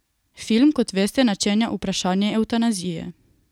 Film, kot veste, načenja vprašanje evtanazije.